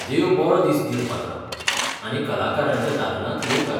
देव बरो दीस दिवं, पात्रांव, आनी कलाकारांच्या दालनांत येवकार!